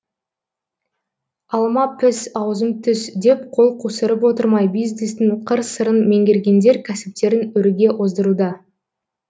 алма піс аузым түс деп қол қусырып отырмай бизнестің қыр сырын меңгергендер кәсіптерін өрге оздыруда